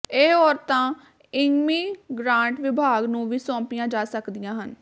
ਇਹ ਔਰਤਾਂ ਇੰਮੀਗਰਾਂਟ ਵਿਭਾਗ ਨੂੰ ਵੀ ਸੌਂਪੀਆਂ ਜਾ ਸਕਦੀਆਂ ਹਨ